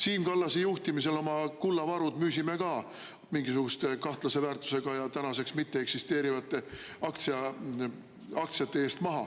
Siim Kallase juhtimisel müüsime oma kullavarud ka mingisuguste kahtlase väärtusega ja tänaseks mitteeksisteerivate aktsiate eest maha.